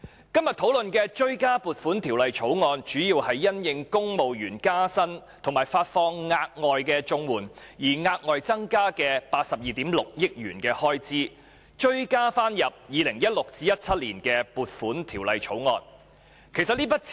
今天討論的追加撥款條例草案，主要是政府因應公務員加薪及發放額外綜合社會保障援助而額外增加的82億 6,000 萬元開支，就 2016-2017 年度的撥款條例草案提出追加撥款。